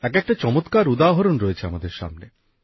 একএকটা চমৎকার উদাহরণ রয়েছে আমাদের সামনে